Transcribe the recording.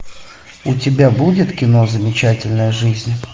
у тебя будет кино замечательная жизнь